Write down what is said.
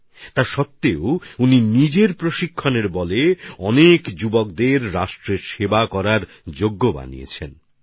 তা সত্বেও তিনি নিজের প্রশিক্ষণ ক্ষমতা দিয়ে অনেক যুবককে দেশসেবার যোগ্য করে গড়ে তুলেছেন